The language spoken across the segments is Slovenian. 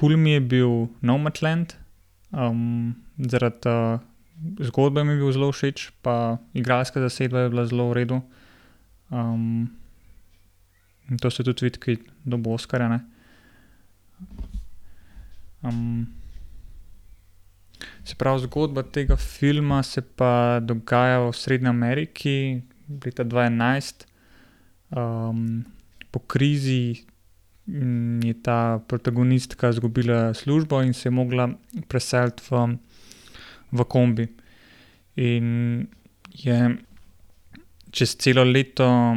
Kul mi je bil Nomadland. zaradi, zgodbe mi je bil zelo všeč pa igralska zasedba je bila zelo v redu. in to se tudi vidi, ker je dobil oskarja, ne. se pravi, zgodba tega filma se pa dogaja v Srednji Ameriki leta dva enajst. po krizi, je ta protagonistka izgubila službo in se je mogla preseliti v, v kombi. In je čez celo leto,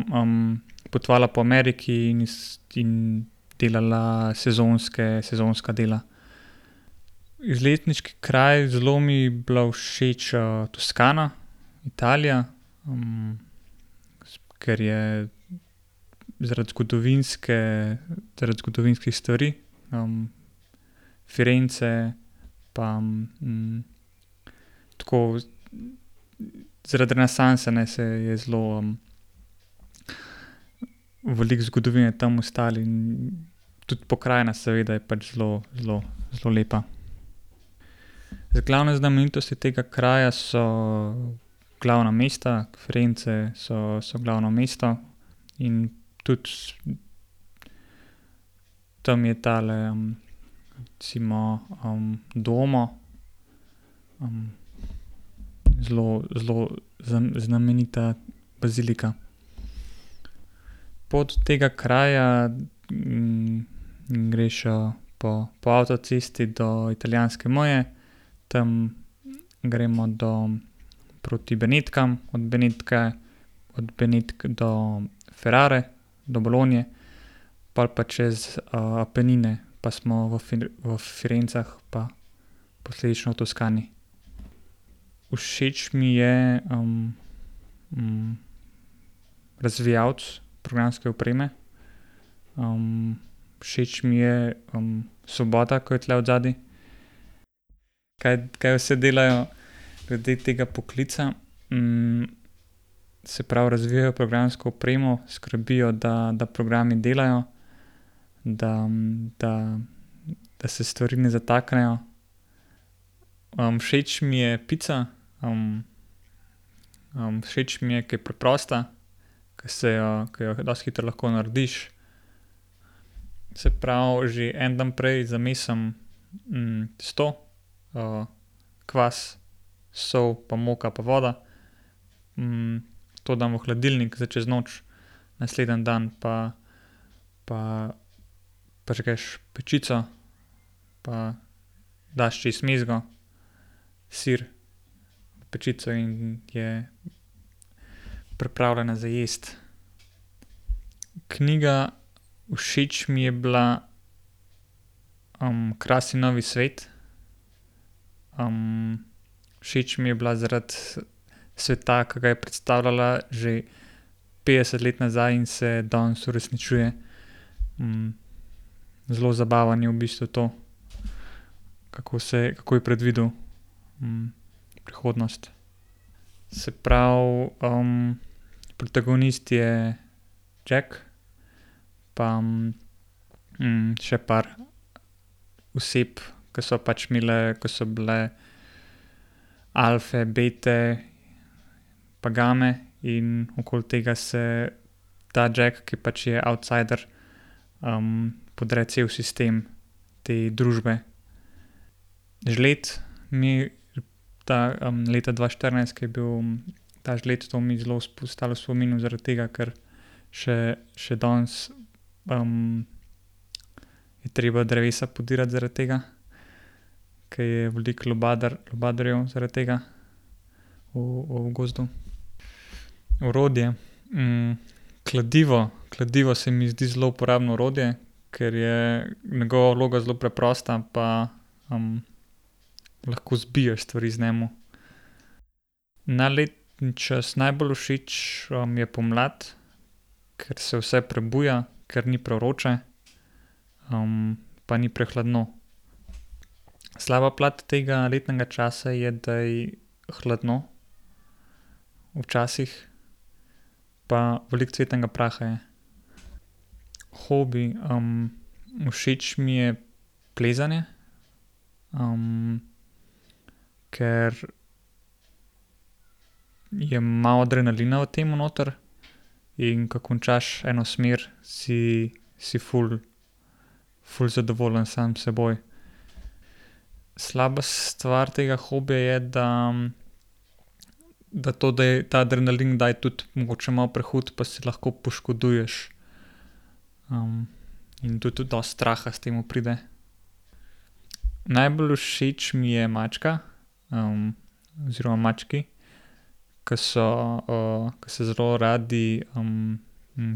potovala po Ameriki in iz delala sezonske, sezonska dela. Izletniški kraj, zelo mi je bila všeč, Toskana, Italija. ker je zaradi zgodovinske, zaradi zgodovinskih stvari. Firence pa, tako zaradi renesanse, ne, se je zelo veliko zgodovine tam ostalo in tudi pokrajina seveda je pač zelo, zelo, zelo lepa. Zdaj glavne znamenitosti tega kraja so glavna mesta, Firence so, so glavno mesto. In tudi tam je tale recimo, Domo. zelo, zelo znamenita bazilika. Pot do tega kraja, greš, po, po avtocesti do italijanske meje, tam gremo do, proti Benetkam, od Benetke, od Benetk do Ferrare, do Bologne. Pol pa čez, Apenine pa smo v v Firencah pa posledično v Toskani. Všeč mi je, razvijalec programske opreme. všeč mi je, svoboda, ki je tule odzadaj. Kaj, kaj vse delajo ljudje tega poklica? se pravi razvijajo programsko opremo, skrbijo, da, da programi delajo, da, da, da se stvari ne zataknejo. všeč mi je pica, všeč mi je, ker je preprosta, ker se jo, ke jo dosti hitro lahko narediš. Se pravi, že en dan prej zamesim, testo. kvas, sol pa moko pa voda. to dam v hladilnik zdaj čez noč. Naslednji dan pa, pa prižgeš pečico pa daš čez mezgo, sir, v pečico in je pripravljena za jesti. Knjiga, všeč mi je bila, Krasni novi svet. všeč mi je bila zaradi sveta, ki ga je predstavljala že petdeset let nazaj in se danes uresničuje. zelo zabavno je v bistvu to, kako se, kako je predvidel, prihodnost. Se pravi, protagonist je Jack pa, še par oseb, ker so pač imele, ko so bile alfe, bete pa game in okoli tega se ta Jack, ker pač je outsider, podre cel sistem te družbe. Žled mi ta, leta dva štirinajst, ke je bil, ta žled, to mi zelo ostalo v spominu, zaradi tega ker še, še danes, je treba drevesa podirati zaradi tega. Ker je veliko lubadarjev zaradi tega v, v gozdu. Orodje, kladivo, kladivo se mi zdi zelo uporabno orodje, ker je njegova vloga zelo preprosta pa, lahko zabiješ stvari z njim. Naj letni čas, najbolj všeč, mi je pomlad, ker se vse prebuja, ker ni prevroče. pa ni prehladno. Slaba plat tega letnega časa je, da je hladno včasih pa veliko cvetnega praha je. Hobi, všeč mi je plezanje. ker je malo adrenalina v tem noter. In ke končaš eno smer, si, si ful, ful zadovoljen sam s seboj. Slaba stvar tega hobija je, da da to, da je ta adrenalin kdaj tudi mogoče malo prehud, pa se lahko poškoduješ. in to tudi dosti straha s tem pride. Najbolj všeč mi je mačka, oziroma mački. Ko so, ko se zelo radi,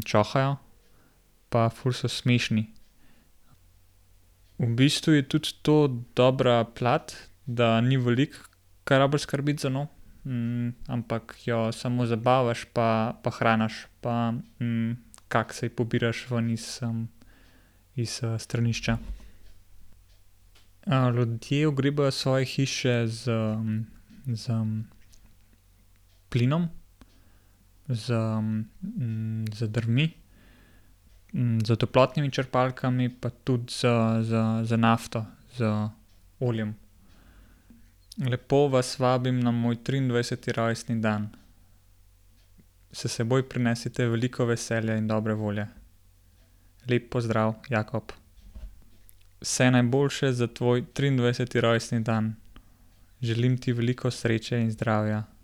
čohajo. Pa ful so smešni. V bistvu je tudi to dobra plat, da ni veliko, kar rabiš skrbeti za njo. ampak jo samo zabavaš pa pa hraniš pa, kakce ji pobiraš ven iz, iz, stranišča. ljudje ogrevajo svoje hiše s, s, plinom, z, z drvmi, s toplotnimi črpalkami pa tudi z, z, z nafto, z oljem. Lepo vas vabim na moj triindvajseti rojstni dan. S seboj prinesite veliko veselja in dobre volje. Lep pozdrav, Jakob. Vse najboljše za tvoj triindvajseti rojstni dan. Želim ti veliko sreče in zdravja.